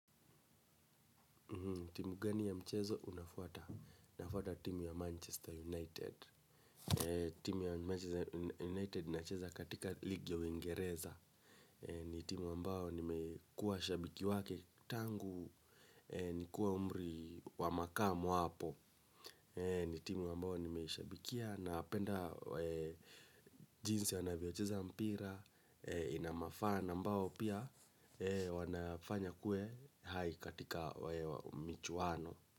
Timu gani ya mchezo unafuata? Unafuata timu ya Manchester United. Timu ya Manchester United inacheza katika ligu ya uingereza. Ni timu ambayo nimekuwa shabiki wake tangu, nikiwa umri wa makamu hapo. Ni timu ambayo nimeshabikia napenda jinsi wanavyocheza mpira, inamafan ambao pia wanafanya kue hai katika michuano.